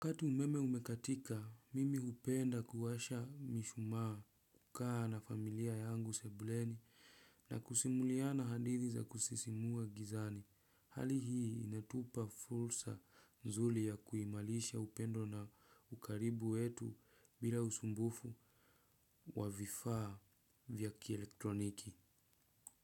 Wakati umeme umekatika, mimi hupenda kuwasha mishumaa kukaa na familia yangu sebuleni na kusimuliana hadithi za kusisimua gizani. Hali hii inatupa fursa nzuri ya kuimarisha upendo na ukaribu wetu bila usumbufu wa vifaa vya kielektroniki.